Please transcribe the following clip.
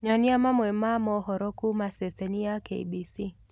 Nyonĩa mamwe ma mohoro kũũma sesheni ya K.B.C